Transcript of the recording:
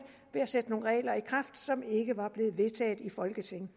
ved at sætte nogle regler i kraft som ikke var blevet vedtaget i folketinget